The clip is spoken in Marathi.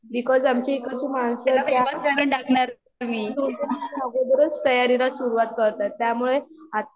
बिकॉज आमच्या इकडची माणसं अगोदरच तयारीला सुरुवात करतात त्यामुळे